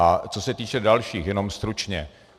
A co se týče dalších, jenom stručně.